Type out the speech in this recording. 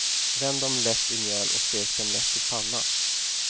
Vänd dem lätt i mjöl och stek dem lätt i panna.